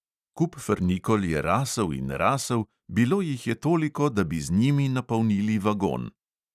Kup frnikol je rasel in rasel, bilo jih je toliko, da bi z njimi napolnili vagon.